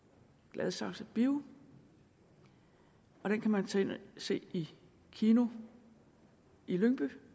gladsaxe bio og den kan man tage ind og se i kino i lyngby